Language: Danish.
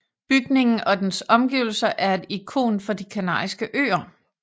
Bygningen og dens omgivelser er et ikon for De Kanariske Øer